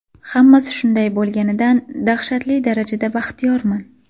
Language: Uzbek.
Hammasi shunday bo‘lganidan dahshatli darajada baxtiyorman”.